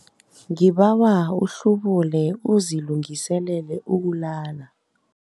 Ngibawa uhlubule uzilungiselele ukulala.